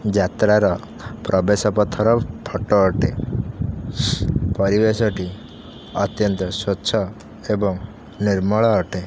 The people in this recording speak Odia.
ଯାତ୍ରାର ପ୍ରବେଶ ପଥର ଫଟ ଅଟେ ପରିବେଶଟି ଅତ୍ୟାନ୍ତ ସ୍ୱଚ୍ଛ ଏବଂ ନିର୍ମଳ ଅଟେ।